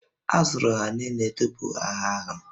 A zụrụ ha niile tupu agha ahụ